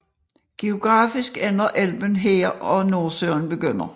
Geografisk ender Elben her og Nordsøen begynder